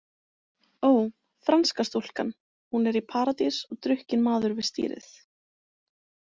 Ó, franska stúlkan, hún er í Paradís og drukkinn maður við stýrið.